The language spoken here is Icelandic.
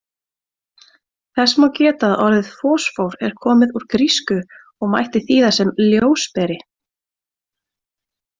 Þess má geta að orðið fosfór er komið úr grísku og mætti þýða sem ljósberi.